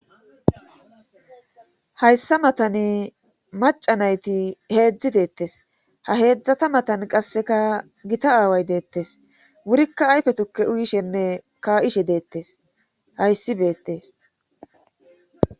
Hayssa matane maca nayti heedzdzi deettes ha heedzdzata matan qasseka gita aaway deettes wurikka ayfe tukke uyishenne ka7ishe deettes hayssi beettes